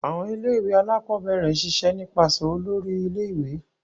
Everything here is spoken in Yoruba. Awọn ilé-ìwé Alakọ̀bẹrẹ n ṣiṣe nipasẹ Òlóri ilé-ìwé